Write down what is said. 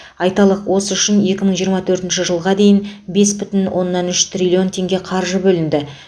айталық осы үшін екі мың жиырма төртінші жылға дейін бес бүтін оннан үш триллион теңге қаржы бөлінеді